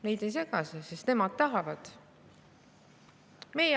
Neid ei sega see, sest nemad tahavad nii.